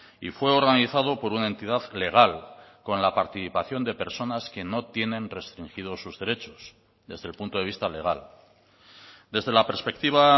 y fue organizado por una entidad legal con la participación de personas que no tienen restringidos sus derechos desde el punto de vista legal desde la perspectiva